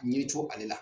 Ɲɛ co ale la